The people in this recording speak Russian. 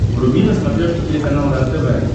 вруби на смотрешке телеканал рентв